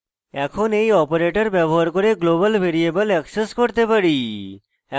এখন we operator ব্যবহার করে global ভ্যারিয়েবল অ্যাক্সেস করতে পারি